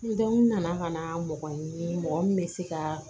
N dɔn n nana ka na mɔgɔ ɲini mɔgɔ min bɛ se ka